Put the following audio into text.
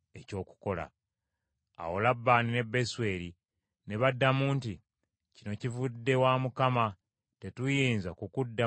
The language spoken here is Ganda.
Awo Labbaani ne Besweri ne baddamu nti, “Kino kivudde wa Mukama , tetuyinza kukuddamu kino oba kiri.